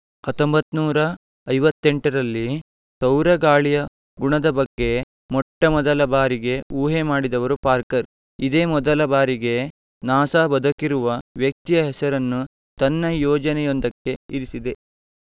ಹಾಥಾಮ್ಬ್ಯಾರ್ತಿನೂರಾ ಐವಥೆಂತರಲ್ಲಿ ರಲ್ಲಿ ಸೌರಗಾಳಿಯ ಗುಣದ ಬಗ್ಗೆ ಮೊಟ್ಟಮೊದಲ ಬಾರಿಗೆ ಊಹೆ ಮಾಡಿದವರು ಪಾರ್ಕರ್‌ ಇದೇ ಮೊದಲ ಬಾರಿಗೆ ನಾಸಾ ಬದುಕಿರುವ ವ್ಯಕ್ತಿಯ ಹೆಸರನ್ನು ತನ್ನ ಯೋಜನೆಯೊಂದಕ್ಕೆ ಇರಿಸಿದೆ